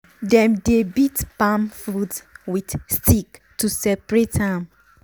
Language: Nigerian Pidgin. dem dey beat palm fruit with stick to separate am.